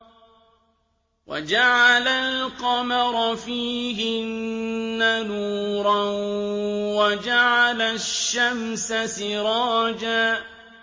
وَجَعَلَ الْقَمَرَ فِيهِنَّ نُورًا وَجَعَلَ الشَّمْسَ سِرَاجًا